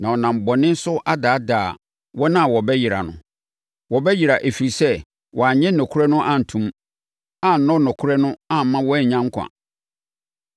na ɔnam bɔne so adaadaa wɔn a wɔbɛyera no. Wɔbɛyera, ɛfiri sɛ, wɔannye nokorɛ no anto mu, annɔ nokorɛ no amma wɔannya nkwa.